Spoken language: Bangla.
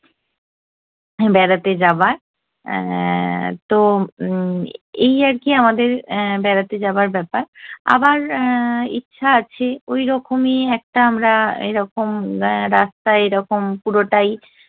বেড়াতে যাবার। এ্যা তো উম্ম এই আর কী আমাদের বেড়াতে যাবার ব্যাপার। আবার এ্যা ইচ্ছা আছে ওইরকমই একটা আমরা এইরকম রাস্তায় এইরকম পুরোটাই